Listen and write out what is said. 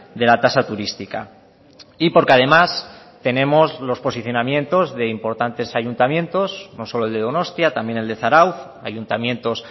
de la tasa turística y porque además tenemos los posicionamientos de importantes ayuntamientos no solo el de donostia también el de zarautz ayuntamientos